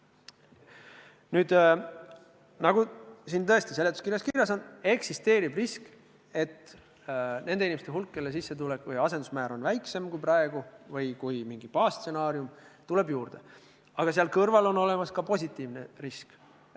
Nüüd, nagu tõesti siin seletuskirjas kirjas on, eksisteerib risk, et suureneb nende inimeste hulk, kelle sissetulek või asendusmäär on väiksem kui praegu või kui mingi baasstsenaarium, aga seal kõrval on olemas ka positiivne risk.